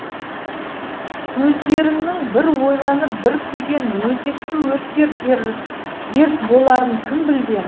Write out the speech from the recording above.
көздеріңнің бір ойланып бір күлген өзекті өртер дерт боларын кім білген